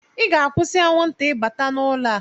Ị ga-akwụsị anwụnta ịbata n'ụlọ a!